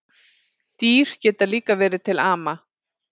Dýr geta líka verið til ama